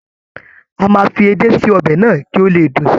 A máa fi edé sí ọbẹ̀ náà kí ó le dùn si.